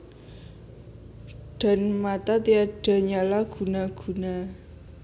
Dan mata tiada nyala guna guna